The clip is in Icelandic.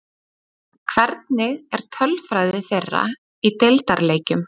Hvernig er tölfræði þeirra í deildarleikjum?